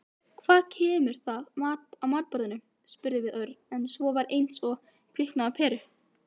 Hvað kemur það matarboðinu við? spurði Örn en svo var eins og kviknaði á peru.